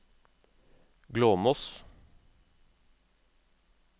Glåmos